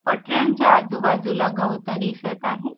पटऱ्यांच्या आजूबाजूला गवतं दिसत आहे.